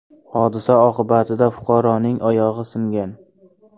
Hodisa oqibatida fuqaroning oyog‘i singan.